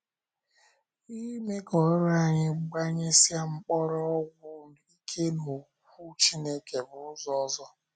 Ịme ka oru anyị gbanyesie mkpọrọgwụ ike n’Okwu Chineke bụ ụzọ ọzọ.